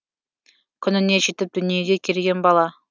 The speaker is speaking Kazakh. күніне жетіп дүниеге келген бала